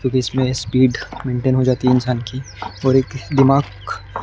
जो कि इसमें स्पीड मेंटेन हो जाती है इंसान की और एक दिमाग--